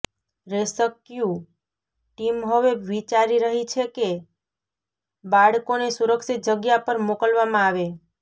rescue team હવે વિચારી રહી છેકે બાળકોને સુરક્ષિત જગ્યા પર મોકલવામાં આવે